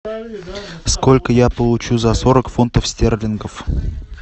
сколько я получу за сорок фунтов стерлингов